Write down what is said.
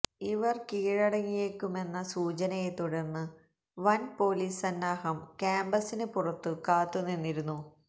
ഇവര് കീഴടങ്ങിയേക്കുമെന്ന സൂചനയെ തുടര്ന്ന് വന് പൊലീസ് സന്നാഹം കാമ്പസിന് പുറത്തു കാത്തു നിന്നിരുന്നു